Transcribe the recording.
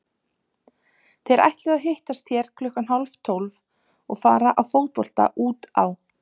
Þeir ætluðu að hittast hér klukkan hálftólf og fara í fótbolta út á